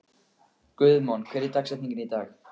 Guðmon, hver er dagsetningin í dag?